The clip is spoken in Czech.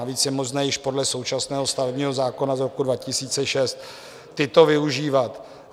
Navíc je možné již podle současného stavebního zákona z roku 2006 tyto využívat.